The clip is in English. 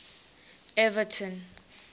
everton